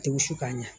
Tɛ wusu ka ɲa